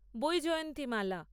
Vyjayanthimala